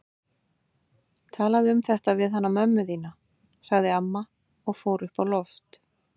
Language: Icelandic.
Talaðu um þetta við hana mömmu þína, sagði amma og fór upp á loft.